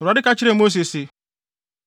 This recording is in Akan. Awurade ka kyerɛɛ Mose se,